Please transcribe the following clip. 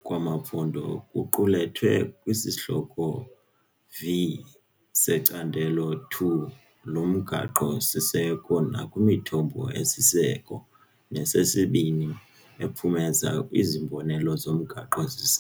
kwamaphondo kuqulethwe kwiSihlokwana V seCandelo II loMgaqo-siseko nakwimithombo esiseko nesesibini ephumeza izibonelelo zomgaqo-siseko.